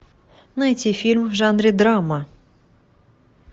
найти фильм в жанре драма